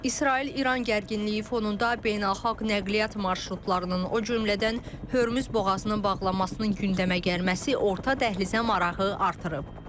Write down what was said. İsrail-İran gərginliyi fonunda beynəlxalq nəqliyyat marşrutlarının, o cümlədən Hörmüz boğazının bağlanmasının gündəmə gəlməsi orta dəhlizə marağı artırıb.